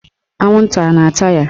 Anwụnta a na-ata ya?